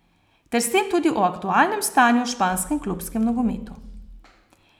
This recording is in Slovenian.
Ter s tem tudi o aktualnem stanju v španskem klubskem nogometu.